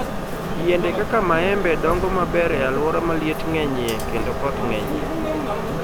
Yiende kaka maembe dongo maber e alwora ma liet ng'enyie kendo koth ng'enyie.